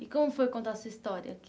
E como foi contar essa história aqui?